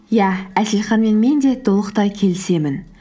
иә әселханмен мен де толықтай келісемін